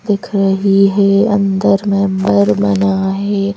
दिख रही है अंदर बना है।